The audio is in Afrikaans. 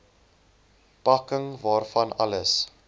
pakking waarvan alles